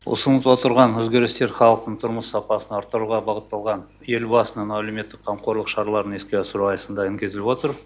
ұсынып отырған өзгерістер халықтың тұрмыс сапасын арттыруға бағытталған елбасының әлеуметтік қамқорлық шараларын іске асыру аясында енгізіліп отыр